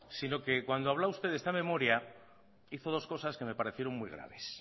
sino que cuando habló usted de esta memoria hizo dos cosas que me parecieron muy graves